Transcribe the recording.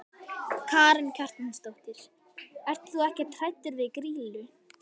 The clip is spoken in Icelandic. Karen Kjartansdóttir: Ert þú ekkert hræddur við Grýlu?